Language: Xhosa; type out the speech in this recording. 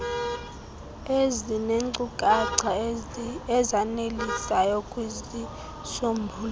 ezineenkcukacha ezanelisayo kwizisombululo